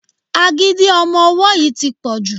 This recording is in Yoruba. Agídí ọmọ ọwọ́ yìí tí pọ̀ jù.